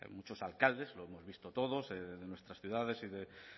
muchos alcaldes lo hemos visto todos en nuestras ciudades y de